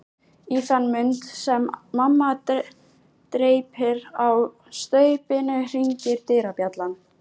Í þann mund sem mamma dreypir á staupinu hringir dyrabjallan.